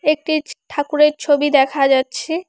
একটি ছ ঠাকুরের ছবি দেখা যাচ্ছে।